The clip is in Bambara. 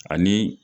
Ani